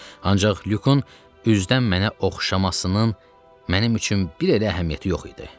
Ancaq Lyukun üzdən mənə oxşamasının mənim üçün bir elə əhəmiyyəti yox idi.